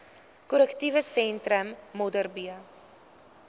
korrektiewe sentrum modderbee